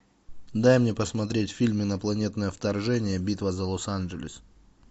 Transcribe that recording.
дай мне посмотреть фильм инопланетное вторжение битва за лос анджелес